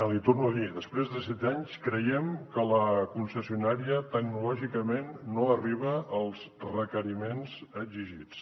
l’hi torno a dir després de set anys creiem que la concessionària tecnològicament no arriba als requeriments exigits